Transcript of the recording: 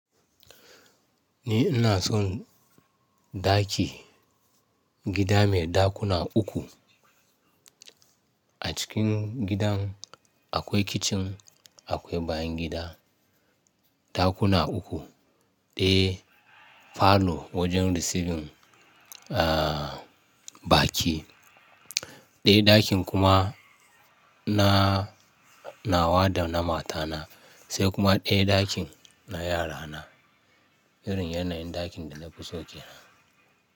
Ni ina son ɗaki, gida mai ɗakuna uku. A cikin gidan akwai kicin, akwai bayan gida, ɗakuna uku, ɗaya falo wajen receiving, a, baki. Ɗaya ɗakin kuma na nawa da na matana, sai kuma ɗaya ɗakin na yarana. Irin yanayin ɗakin da na fi so ke nan.